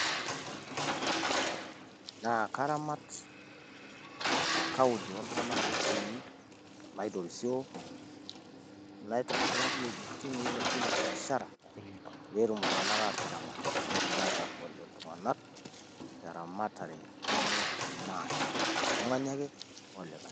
Naa karamat ina Kaunti oltung'anak ootii naitorisioo naitobiraki ewuejin niilepunyie biashara pee etum iltung'anak aataramat netum aatagol iltung'anak te eramatare enye maate, oltung'ani ake olikae.